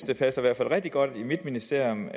det passer rigtig godt til mit ministerium